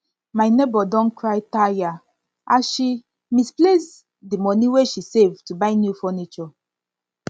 my nebor don cry tire as she misplace di misplace di money wey she save to buy new furniture